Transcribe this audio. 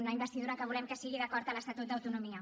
una investidura que volem que sigui d’acord amb l’estatut d’autonomia